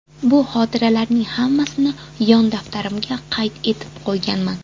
Bu xotiralarning hammasini yon daftarimga qayd etib qo‘yganman.